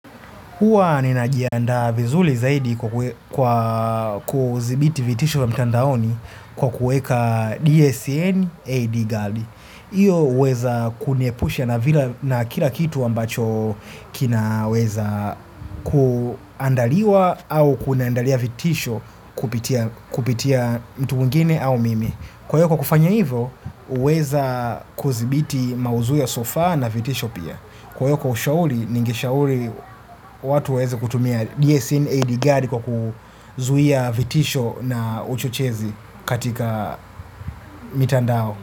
Huwa ninajianda vizuri zaidi kwa kudhibiti vitisho wa mtandaoni kwa kuweka DSN AD Guard. Hiyo huweza kuniepusha na kila kitu ambacho kinaweza kuandaliwa au kuniandalia vitisho kupitia mtu mwingine au mimi. Kwa kufanya hivyo, huweza kudhibiti maudhui ya sofa na vitisho pia. Kwa hiyo kwa ushauri, ningeshauri watu weze kutumia DSN AD guard kwa kuzuia vitisho na uchochezi katika mtandao.